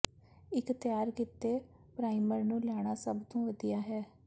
ਇੱਕ ਤਿਆਰ ਕੀਤੇ ਪਰਾਈਮਰ ਨੂੰ ਲੈਣਾ ਸਭ ਤੋਂ ਵਧੀਆ ਹੈ